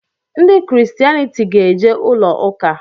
Ndị ‘christianity' ga-eje ụlọ ụka